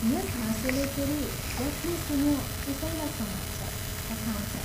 यस हाँसोले फेरि जसले सुन्यो उसैलाई समात्छ, हंसाउँछ।